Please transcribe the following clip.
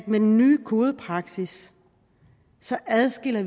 med den nye kodepraksis adskiller